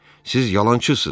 Siz yalançısınız.